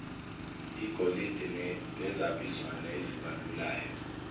igolide nezabizwana ezibalulayo